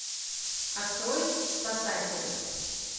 открой спасатели